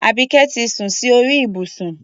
Àbíké ti sun sí orí ìbùsùn.